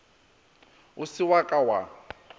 o se wa ka wa